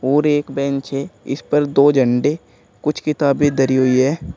और एक बेंच है इस पर दो झंडे कुछ किताबें धरी हुई है।